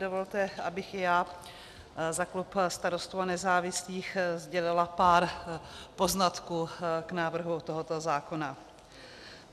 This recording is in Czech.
Dovolte, abych i já za klub Starostů a nezávislých sdělila pár poznatků k návrhu tohoto zákona.